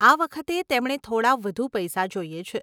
આ વખતે તેમણે થોડાં વધુ પૈસા જોઈએ છે.